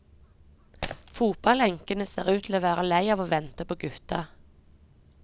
Fotballenkene ser ut til å være lei av å vente på gutta.